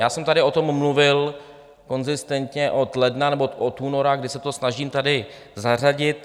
Já jsem tady o tom mluvil konzistentně od ledna nebo od února, kdy se to snažím tady zařadit.